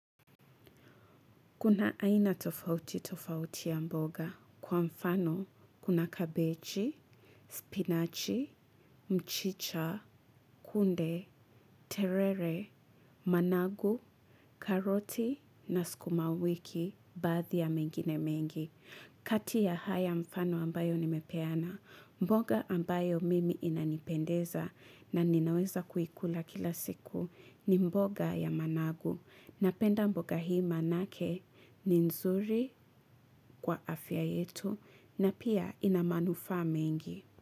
Kuna aina tofauti tofauti ya mboga. Kwa mfano, kuna kabechi, spinachi, mchicha, kunde, terere, managu, karoti, na skumawiki, baadhi ya mengine mengi. Kati ya haya mfano ambayo nimepeana, mboga ambayo mimi inanipendeza na ninaweza kuikula kila siku ni mboga ya managu. Napenda mboga hii manake ni nzuri kwa afya yetu na pia ina manufaa mengi.